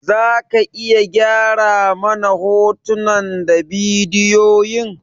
Za ka iya gyara mana hotunan da bidiyoyin?